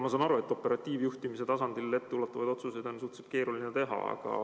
Ma saan aru, et operatiivjuhtimise tasandil on etteulatuvaid otsuseid suhteliselt keeruline teha.